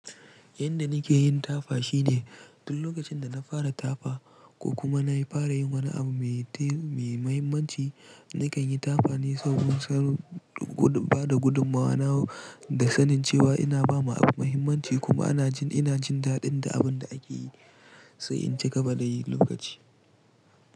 Yanda nake yin tafa shine duk lokacin da na fara tafa ko kuma na yi fara yin wani abu mai te -mai mahimmanci, nakan yi tafa ne sabin-sabin gudu, bada gudun mawana da sanin cewa ina ba ma abu mahimmanci kuma ana jin ina jin daɗin da abin da ake yi sai in ci gaba da yin lokaci.